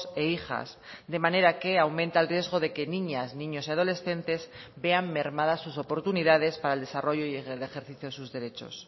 e hijas de manera que aumenta el riesgo de que niñas niños y adolescentes vean mermadas sus oportunidades para el desarrollo y el ejercicio de sus derechos